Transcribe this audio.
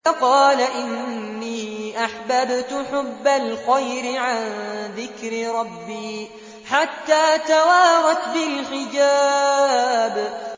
فَقَالَ إِنِّي أَحْبَبْتُ حُبَّ الْخَيْرِ عَن ذِكْرِ رَبِّي حَتَّىٰ تَوَارَتْ بِالْحِجَابِ